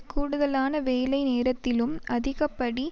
கூடுதலான வேலை நேரத்திலும் அதிகப்படி